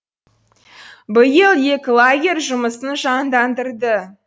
биыл екі лагерь жұмысын жандандырды